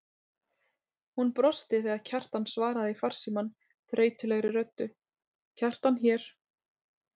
Hún brosti þegar Kjartan svaraði í farsímann þreytulegri röddu: Kjartan hér.